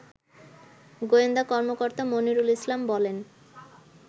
গোয়েন্দা কর্মকর্তা মনিরুল ইসলাম বলেন